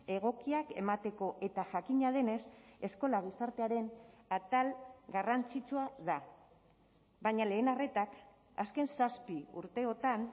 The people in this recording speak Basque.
egokiak emateko eta jakina denez eskola gizartearen atal garrantzitsua da baina lehen arretak azken zazpi urteotan